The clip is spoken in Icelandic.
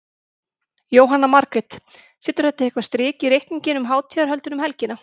Jóhanna Margrét: Setur þetta eitthvað strik í reikninginn um hátíðarhöldin um helgina?